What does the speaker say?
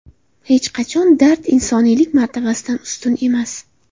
Hech qanday dard insoniylik martabasidan ustun emas.